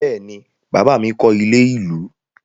Bẹ́ẹ̀ ni, bàbá mi kọ́ ilé-ìlú.